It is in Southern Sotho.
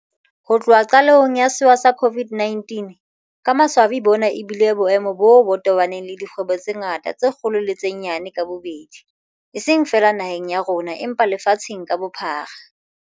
Ho tloha qalehong ya sewa sa COVID-19, ka maswabi bona ebile boemo boo bo tobaneng le dikgwebo tse ngata tse kgolo le tse nyane ka bobedi, eseng feela naheng ya rona empa lefatsheng ka bophara.